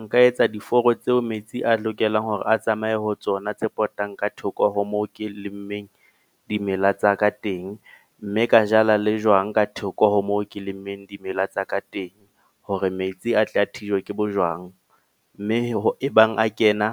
Nka etsa diforo tseo metsi a lokelang hore a tsamaye ho tsona, tse potang ka thoko ho moo ke lemmeng dimela tsa ka teng. Mme ka jala le jwang ka thoko ho moo ke lemmeng dimela tsa ka teng. Hore metsi a tle a thijwa ke bojwang. Mme ho e bang a kena